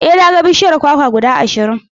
E, na ga bishiyun kwakwa guda ashirin.